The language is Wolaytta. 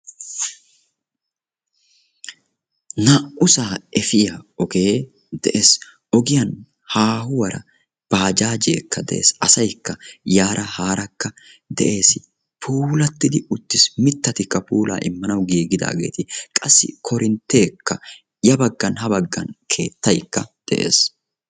Naa"u saa efiya ogee de'ees, ogiyan haahuwara baajaajee de'ees, asaykka yaara haarakka de'ees. puulattidi uttis, mitattikka puulaa immanawu giigidaageeti qassi korinteekka , ya bagan habagan keettaykka de'ees